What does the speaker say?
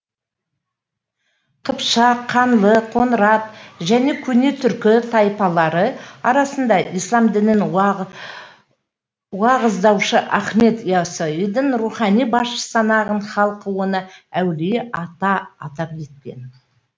қыпшақ қаңлы қоңырат және көне түркі тайпалары арасында ислам дінін уағыздаушы ахмет иассауиді рухани басшы санаған халық оны әулие ата атап кеткен